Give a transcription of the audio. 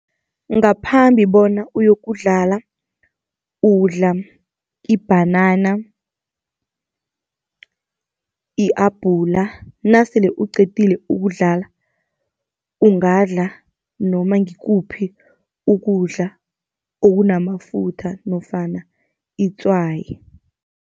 Ngaphambi bona uyokudlala udla ibhanana, i-abhula. Nasele uqedile ukudlala, ungadla noma ngikuphi ukudla okunamafutha nofana itswayi.